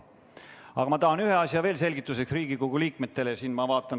Aga ma tahan ühe asja veel Riigikogu liikmetele selgituseks öelda.